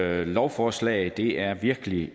her lovforslag det er virkelig